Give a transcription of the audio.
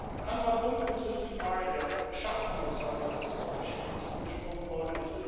Ein anderer Punkt betrifft die Frage der Schattenhaushalte, das ist ja auch verschiedentlich angesprochen worden.